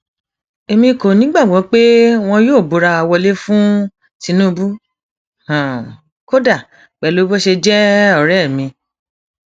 akínbùmálà kọ ni wọn ti láwọn kò nígbàgbọ mọ nínú ìwádìí táwọn ọlọpàá ọdẹìrẹlẹ ń ṣe